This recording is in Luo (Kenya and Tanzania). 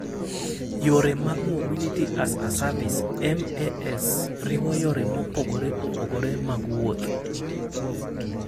Yore mag Mobility-as-a-Service (MaaS) riwo yore mopogore opogore mag wuoth.